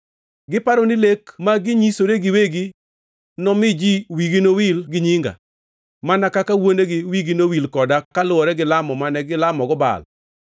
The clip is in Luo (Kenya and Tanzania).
Giparo ni lek ma ginyisore giwegi nomi ji wigi nowil gi nyinga, mana kaka wuonegi wigi nowil koda kaluwore gilamo mane gilamogo Baal.”